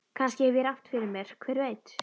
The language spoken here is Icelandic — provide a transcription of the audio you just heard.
Kannski hef ég rangt fyrir mér, hver veit?